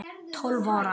Tólf ára.